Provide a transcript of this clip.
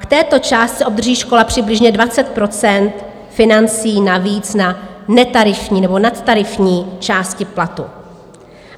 K této částce obdrží škola přibližně 20 % financí navíc na netarifní nebo nadtarifní části platu.